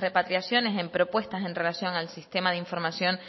repatriaciones en propuestas en relación al sistema de información